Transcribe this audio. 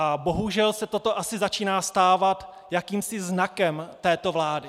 A bohužel se toto asi začíná stávat jakýmsi znakem této vlády.